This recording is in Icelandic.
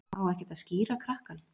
Á ekkert að skíra krakkann?